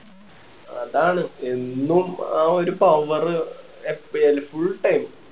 അതാണ് എന്നും ആ ഒരു power എപ്പയാലും full time